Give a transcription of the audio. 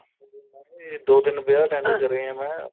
ਇਹ ਦੋ ਤਿੰਨ ਵਿਆਹ attend ਕਰੇ ਆ ਮੈਂ